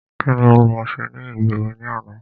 Kíni o lọ ṣe ní ìgboro ní àná?